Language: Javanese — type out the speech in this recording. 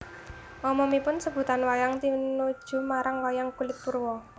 Umumipun sebutan wayang tinuju marang wayang kulit purwa